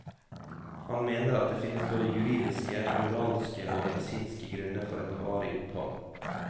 Han mener at det finnes både juridiske, moralske og medisinske grunner for et varig opphold.